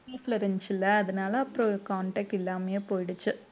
வீட்டுல இருந்துடுச்சுல அதனால அப்புறம் contact இல்லாமையே போயிடுச்சி